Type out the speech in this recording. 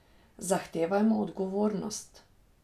Zahtevajmo odgovornost.